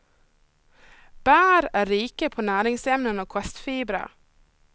Bär är rika på näringsämnen och kostfibrer.